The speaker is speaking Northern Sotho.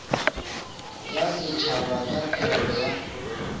ya setšhaba ka thekgo ya